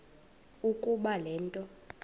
ukuba le nto